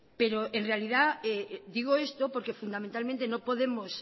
pero en realidad digo esto porque fundamentalmente no podemos